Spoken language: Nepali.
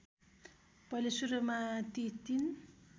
पहिले सुरुमा टि ३